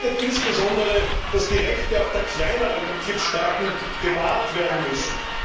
Das bedeutet insbesondere, dass auch die Rechte der kleineren Mitgliedstaaten gewahrt werden müssen.